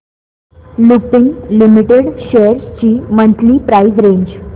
Lupin Limited shares ची monthly price range